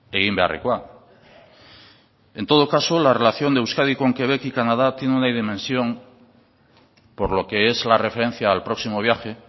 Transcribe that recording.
egin beharrekoa en todo caso la relación de euskadi con quebec y canadá tiene una dimensión por lo que es la referencia al próximo viaje